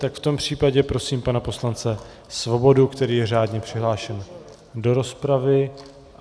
Tak v tom případě prosím pana poslance Svobodu, který je řádně přihlášen do rozpravy.